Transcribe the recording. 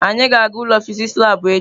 Anyị ga-aga ụlọ fịsịsị labụ echi.